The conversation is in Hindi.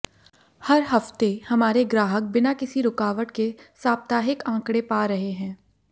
हर हफ्ते हमारे ग्राहक बिना किसी रुकावट के साप्ताहिक आंकड़े पा रहे हैं